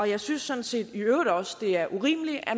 jeg synes sådan set i øvrigt også at det er urimeligt at